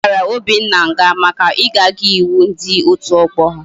A ghara Obinna ngha maka igaghi iwu ndi otu ogbo ya